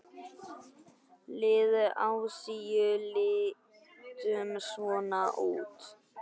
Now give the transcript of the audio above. Lið Asíu lítur svona út